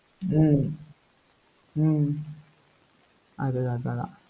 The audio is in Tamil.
ஹம் ஹம் அது, அதேதான்